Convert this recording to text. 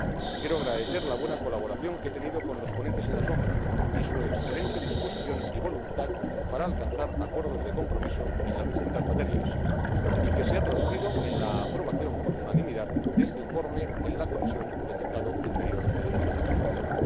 Quiero agradecer la buena colaboración que he tenido con los ponentes alternativos y su excelente disposición y voluntad para alcanzar acuerdos de transacción en las distintas materias, lo que se ha traducido en la aprobación, por unanimidad, de este informe en la Comisión de Mercado Interior y Protección del Consumidor.